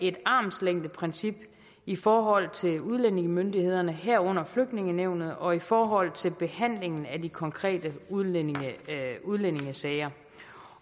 et armslængdeprincip i forhold til udlændingemyndighederne herunder flygtningenævnet og i forhold til behandlingen af de konkrete udlændingesager udlændingesager